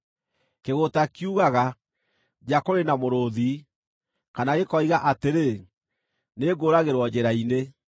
Kĩgũũta kiugaga, “Nja kũrĩ na mũrũũthi!” Kana gĩkoiga atĩrĩ, “Nĩngũũragĩrwo njĩra-inĩ!”